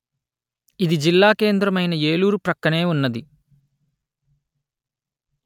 ఇది జిల్లా కేంద్రమైన ఏలూరు ప్రక్కనే ఉన్నది